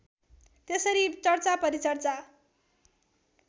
त्यसरी चर्चा परिचर्चा